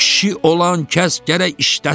Kişi olan kəs gərək işləsin.